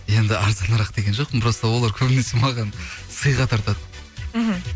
енді арзанырақ деген жоқпын просто олар көбінесе маған сыйға тартады мхм